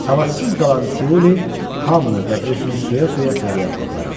Əlacsız qalan Tiuli hamını və özünü söyə-söyə fəryad qoparır.